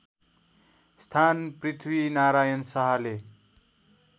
स्थान पृथ्वीनारायण शाहले